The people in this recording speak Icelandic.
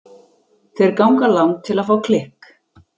Þeir ganga langt til að fá klikk.